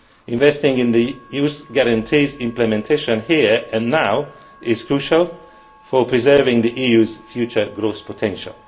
Investing in the Youth Guarantee's implementation here and now is crucial for preserving the EU's future growth potential.